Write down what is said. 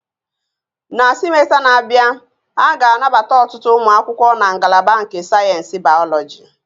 Na simesta na-abịa, a ga-anabata ọtụtụ ụmụ akwụkwọ na ngalaba nke sayensị Bayọlọji